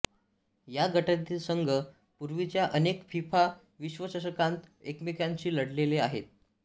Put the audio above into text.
या गटातील संघ पूर्वीच्या अनेक फिफा विश्वचषकांत एकमेकांशी लढलेले आहेत